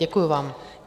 Děkuji vám.